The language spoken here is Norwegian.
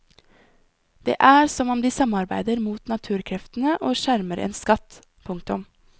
Det er som om de samarbeider mot naturkreftene og skjermer en skatt. punktum